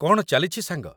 କ'ଣ ଚାଲିଛି ସାଙ୍ଗ?